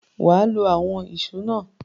Wà á lo àwọn ìṣó náà!